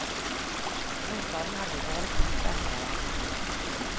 Nå savner vi bare puter under armene.